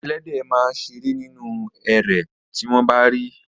Ẹléde máa a ṣeré nínú erè tí wọ́n bá rí i.